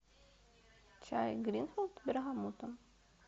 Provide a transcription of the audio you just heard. чай гринфилд с бергамотом